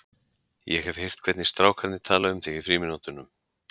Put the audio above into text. Ég hef heyrt hvernig strák- arnir tala um þig í frímínútunum.